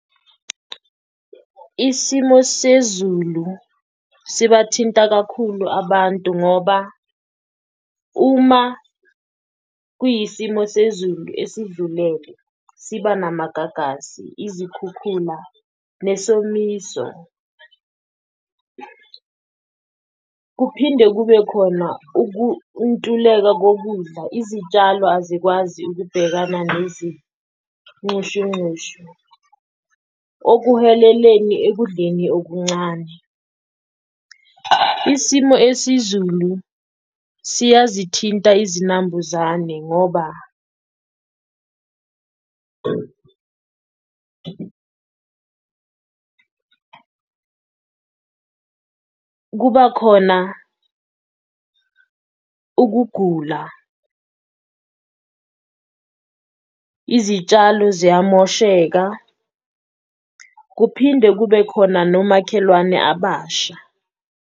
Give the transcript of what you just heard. Isimo sezulu sibathinta kakhulu abantu ngoba uma kuyisimo sezulu esidlulele siba namagagasi, izikhukhula nesomiso. Kuphinde kube khona ukuntuleka kokudla izitshalo azikwazi ukubhekana nezinxushunxushu ekudleni okuncane. Isimo esizulu siyazithinta izinambuzane ngoba kuba khona ukugula, izitshalo ziyamosheka kuphinde kube khona nomakhelwane abasha.